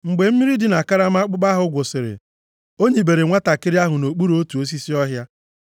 Mgbe mmiri dị na karama akpụkpọ ahụ gwụsịrị, o nibere nwantakịrị ahụ nʼokpuru otu osisi ọhịa.